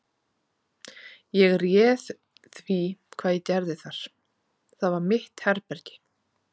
Ég réð því hvað ég gerði þar: það var mitt herbergi.